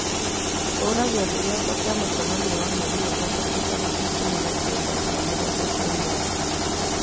hura gĩathĩ gĩakwa kĩa mũcemanio wa mweri wa gatatũ tarĩki ikũmi na kenda thaa mũgwanja cia mĩaraho